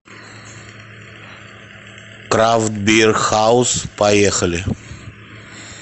крафт бир хаус поехали